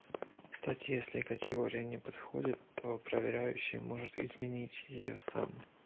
кстати если категория не подходит то проверяющий может изменить её сам